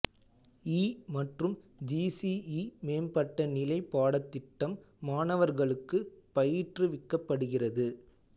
இ மற்றும் G C E மேம்பட்ட நிலை பாடத்திட்டம் மாணவர்களுக்கு பயிற்றுவிக்கப்படுகிறது